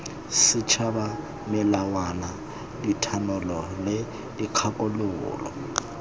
setšhaba melawana dithanolo le dikgakololo